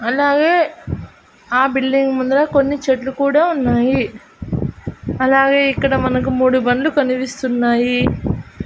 అలాగే ఆ బిల్డింగ్ ముందుర కొన్ని చెట్లు కూడా ఉన్నాయి అలాగే ఇక్కడ మనకు మూడు బండ్లు కనిపిస్తున్నాయి.